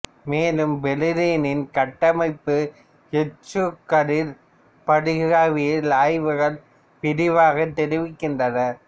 மேலும் பெரிலீனின் கட்டமைப்பை எக்சுகதிர் படிகவியல் ஆய்வுகள் விரிவாக தெரிவிக்கின்றன